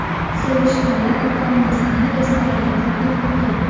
Sevishganlar ota-onasini restoranga taklif qilgan.